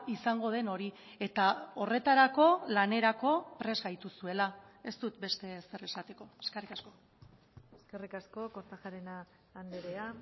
izango den hori eta horretarako lanerako prest gaituzuela ez dut beste ezer esateko eskerrik asko eskerrik asko kortajarena andrea